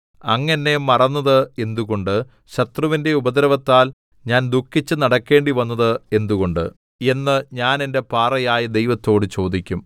അങ്ങ് എന്നെ മറന്നത് എന്തുകൊണ്ട് ശത്രുവിന്റെ ഉപദ്രവത്താൽ ഞാൻ ദുഃഖിച്ച് നടക്കേണ്ടി വന്നത് എന്തുകൊണ്ട് എന്ന് ഞാൻ എന്റെ പാറയായ ദൈവത്തോട് ചോദിക്കും